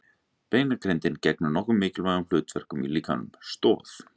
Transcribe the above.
Beinagrindin gegnir nokkrum mikilvægum hlutverkum í líkamanum: Stoð.